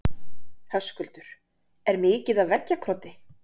Höskuldur: Er mikið af veggjakroti?